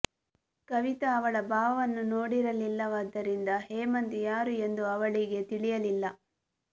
ಕವಿತ ಅವಳ ಭಾವನನ್ನು ನೋಡಿರಲಿಲ್ಲವಾದ್ದರಿಂದ ಹೇಮಂತ್ ಯಾರು ಎಂದು ಅವಳಿಗೆ ತಿಳಿಯಲಿಲ್ಲ